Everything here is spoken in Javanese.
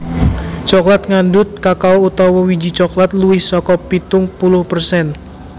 Coklat ngandhut kakao utawa wiji coklat luwih saka pitung puluh persen